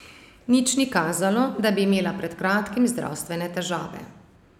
Nič ni kazalo, da bi imela pred kratkim zdravstvene težave.